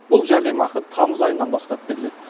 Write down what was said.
бұл жәрдемақы тамыз айынан бастап беріледі